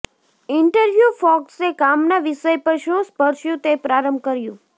interview ફોક્સે કામના વિષય પર શું સ્પર્શ્યું તે પ્રારંભ કર્યું